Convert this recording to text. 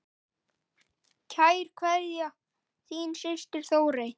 Kær kveðja, þín systir Þórey.